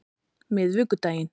miðvikudaginn